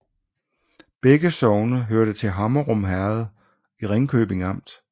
Begge sogne hørte til Hammerum Herred i Ringkøbing Amt